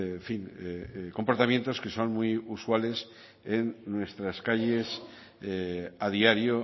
en fin comportamientos que son muy usuales en nuestras calles a diario